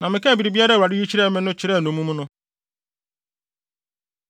Na mekaa biribiara a Awurade yi kyerɛɛ me no kyerɛɛ nnommum no.